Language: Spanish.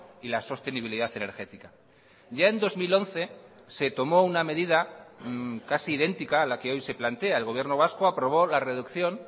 y la sostenibilidad energética ya en dos mil once se tomó una medida casi idéntica a la que hoy se plantea el gobierno vasco aprobó la reducción